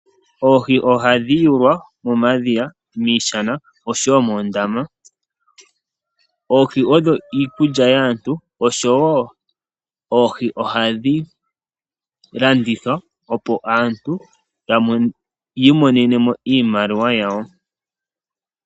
Oohi ohadhi yulwa momadhiya, miishana oshowo moondama, odho iikulya yaantu nohadhi landithwa opo aantu yi imonene iimaliwa yawo.